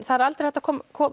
það er aldrei hægt að